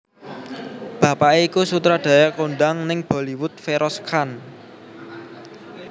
Bapaké iku sutradara kondhang ning Bollywood Feroz Khan